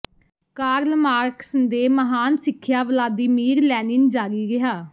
Karl Marx ਦੇ ਮਹਾਨ ਸਿੱਖਿਆ ਵਲਾਦੀਮੀਰ ਲੈਨਿਨ ਜਾਰੀ ਰਿਹਾ